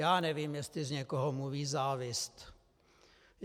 Já nevím, jestli z někoho mluví závist.